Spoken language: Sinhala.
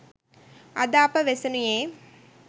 අද අප වෙසෙනුයේ